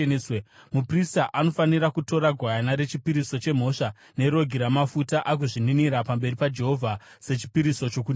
Muprista anofanira kutora gwayana rechipiriso chemhosva nerogi ramafuta agozvininira pamberi paJehovha sechipiriso chokuninira.